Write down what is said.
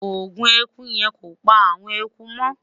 ògún ẹkú yen kọ pa awọn ẹkú mo